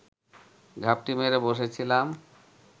ঘাপটি মেরে বসে ছিলাম